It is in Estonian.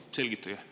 Palun selgitage!